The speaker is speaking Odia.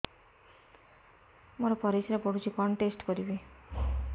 ମୋର ପରିସ୍ରା ପୋଡୁଛି କଣ ଟେଷ୍ଟ କରିବି